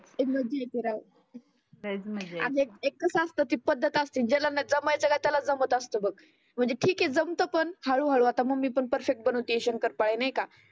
एकदा दे खरं आज आणी एक कसं असतं ती पद्धत असते ज्याला ना जमायचं त्याचाल जमत असतं बघ. म्हणजे ठिक आहे जमतं पण हळू हळू मम्मी पण परफेक्ट बनवते शंकरपाळे नाही का?